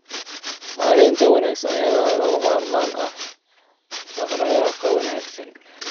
Maareynta wanaagsan ayaa lagama maarmaan u ah dhaq-dhaqaaqa wanaagsan.